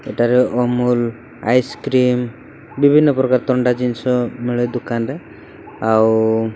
ଏଠାରେ ଅମୂଲ ଆଇସକ୍ରିମ ବିଭିନ୍ନ ପ୍ରକାର ଥଣ୍ଡା ଜିନିଷ ମିଳେ ଦୋକାନରେ ଆଉ --